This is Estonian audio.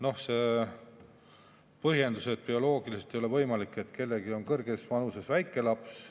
Noh, siin kõlas põhjendus, et bioloogiliselt ei ole võimalik, et kellelgi on kõrges vanuses väike laps.